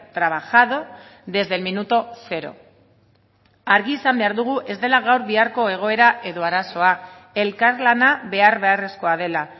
trabajado desde el minuto cero argi esan behar dugu ez dela gaur biharko egoera edo arazoa elkarlana behar beharrezkoa dela